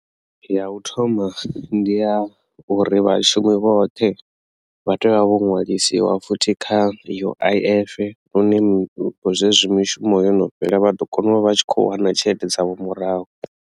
Ya u thoma ndi ya uri vhashumi vhoṱhe vha tea vho nwalisiwa futhi kha uif lune zwezwi mishumo yo no fhela vha ḓo kona u vha vha tshi kho wana tshelede dzavho murahu.